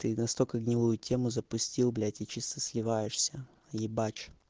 ты настолько гнилую тему запустил блять и чисто сливаешься ебать